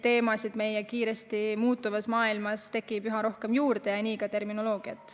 Teemasid tekib meie kiiresti muutuvas maailmas üha rohkem juurde ja nii ka terminoloogiat.